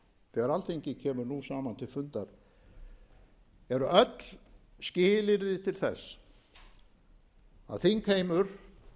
til fundar eru öll skilyrði til þess að þingheimur